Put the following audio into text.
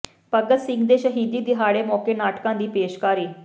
ਭਗਤ ਸਿੰਘ ਦੇ ਸ਼ਹੀਦੀ ਦਿਹਾੜੇ ਮੌਕੇ ਨਾਟਕਾਂ ਦੀ ਪੇਸ਼ਕਾਰੀ